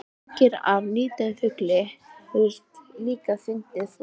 Vængir af nýdauðum fugli höfðu líka fundist flóðreki.